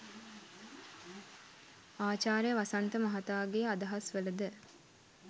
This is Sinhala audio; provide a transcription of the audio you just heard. ආචාර්ය වසන්ත මහතාගේ අදහස් වල ද